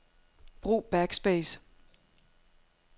Brug backspace.